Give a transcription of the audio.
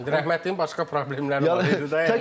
Rəhmətliyin başqa problemləri var idi də yəni.